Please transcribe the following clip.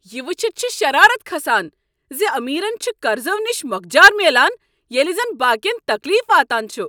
یِہ ؤچِتھ چُھ شرارت کھسان زِ امیرن چھ قرضو نِش موكجارمیلان ییلِہ زن باقٕین تكلیف واتان چھٗ ۔